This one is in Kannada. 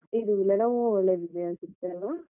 ಇದು Lenovo ಒಳ್ಳೆದಿದೆ ಅನ್ಸತ್ತೇ ಅಲ್ವಾ?